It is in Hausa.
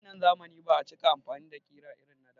A wannan zamani ba a cika amfani da ƙira irin na da